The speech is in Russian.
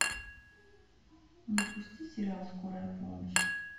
запусти сериал скорая помощь